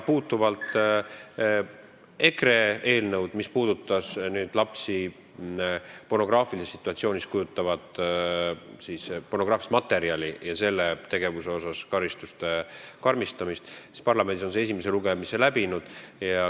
Kui rääkida EKRE eelnõust, mis puudutab last pornograafilises situatsioonis, pornograafilises materjalis kujutamist ja selle tegevuse eest karistuste karmistamist, siis parlamendis on see esimese lugemise läbinud.